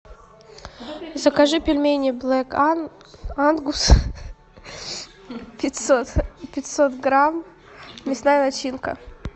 закажи пельмени блэк ангус пятьсот пятьсот грамм мясная начинка